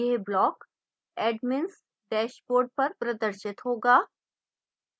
यह block admins dashboard पर प्रदर्शित होगा